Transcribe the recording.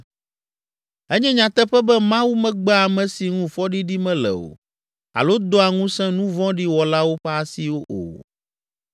“Enye nyateƒe be Mawu megbea ame si ŋu fɔɖiɖi mele o alo doa ŋusẽ nu vɔ̃ɖi wɔlawo ƒe asi o.